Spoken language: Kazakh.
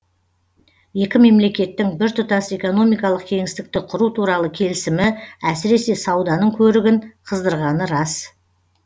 екі мемлекеттің біртұтас экономикалық кеңістікті құру туралы келісімі әсіресе сауданың көрігін қыздырғаны рас